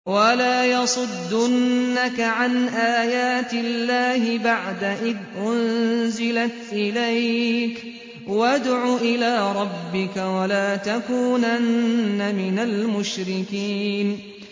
وَلَا يَصُدُّنَّكَ عَنْ آيَاتِ اللَّهِ بَعْدَ إِذْ أُنزِلَتْ إِلَيْكَ ۖ وَادْعُ إِلَىٰ رَبِّكَ ۖ وَلَا تَكُونَنَّ مِنَ الْمُشْرِكِينَ